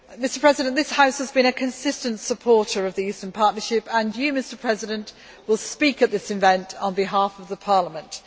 Mr President, this House has been a consistent supporter of the Eastern Partnership and you, Mr President, will speak at this event on behalf of the Parliament.